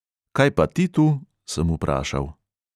"Kaj pa ti tu?" sem vprašal.